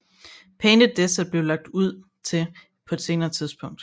Painted Desert blev lagt til på et senere tidspunkt